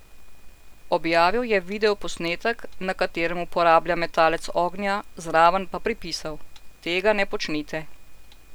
Objavil je videoposnetek, na katerem uporablja metalec ognja, zraven pa pripisal: "Tega ne počnite.